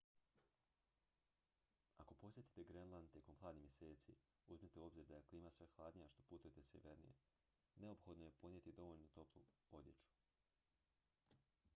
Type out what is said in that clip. ako posjetite grenland tijekom hladnih mjeseci uzmite u obzir da je klima sve hladnija što putujete sjevernije neophodno je ponijeti dovoljno toplu odjeću